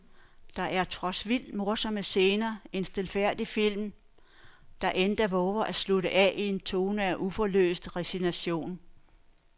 Der er trods vildt morsomme scener en stilfærdig film, der endda vover at slutte af i en tone af uforløst resignation.